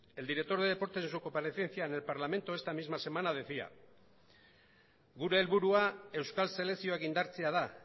el director de deportes en su comparecencia en el parlamento esta misma semana decía gure helburua euskal selekzioak indartzea da